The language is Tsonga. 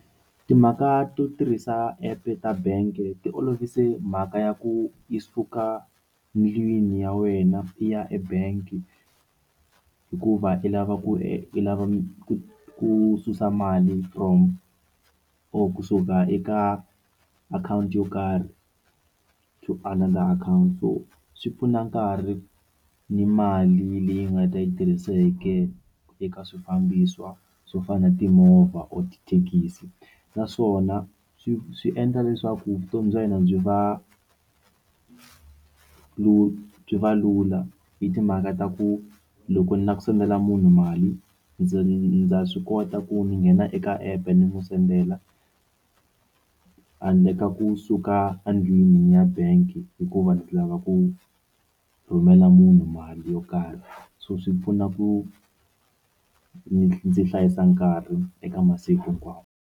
Timhaka to tirhisa app ta bank ti olovise mhaka ya ku yi suka ndlwini ya wena i ya ebank hikuva i lava ku i lava ku susa mali from or kusuka eka akhawunti yo karhi xo ala laha akhawunti so swi pfuna nkarhi ni mali leyi nga ta yi tirhiseke eka swifambiso swo fana na timovha or tithekisi naswona swi swi endla leswaku vutomi bya hina byi va byi va lula hi timhaka ta ku loko ni lava ku sendela munhu mali ndza ndza swi kota ku ndzi nghena eka app ni n'wi sendela handle ka kusuka endlwini ya bank hikuva ndzi lava ku rhumela munhu mali yo karhi so swi pfuna ku ndzi hlayisa nkarhi eka masiku hinkwawo.